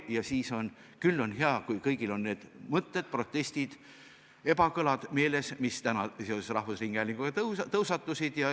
Ja küll siis on hea, kui kõigil on need mõtted, protestid ja ebakõlad meeles, mis täna seoses rahvusringhäälinguga on tõusetunud.